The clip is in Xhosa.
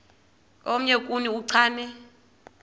omnye kuni uchane